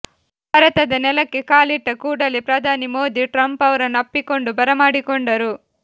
ಭಾರತದ ನೆಲಕ್ಕೆ ಕಾಲಿಟ್ಟ ಕೂಡಲೇ ಪ್ರಧಾನಿ ಮೋದಿ ಟ್ರಂಪ್ ಅವರನ್ನು ಅಪ್ಪಿಕೊಂಡು ಬರಮಾಡಿಕೊಂಡರು